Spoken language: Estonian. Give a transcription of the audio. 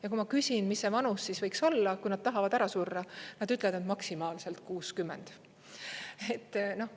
Ja kui ma küsin, mis see vanus siis võiks olla, kui nad tahavad ära surra, nad ütlevad, et maksimaalselt 60.